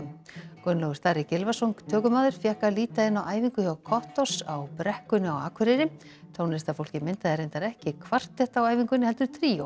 Gunnlaugur Starri Gylfason tökumaður fékk að líta inn á æfingu hjá á brekkunni á Akureyri tónlistarfólkið myndaði reyndar ekki kvartett á æfingunni heldur tríó